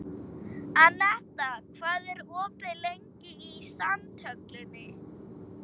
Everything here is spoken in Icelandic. Anetta, hvað er opið lengi í Sundhöllinni?